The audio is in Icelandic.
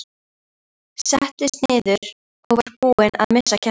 Settist niður og var búin að missa kjarkinn.